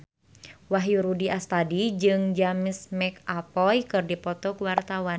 Wahyu Rudi Astadi jeung James McAvoy keur dipoto ku wartawan